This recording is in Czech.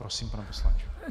Prosím, pane poslanče.